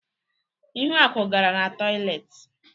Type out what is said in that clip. Ihuaku gara n'toịletị.